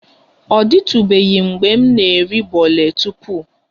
Ọ dịtụbeghị mgbe m na-eri bole tupu